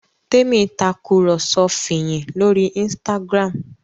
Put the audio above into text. Temi Tàkùrọ̀sọ Fiyin lórí Instagram.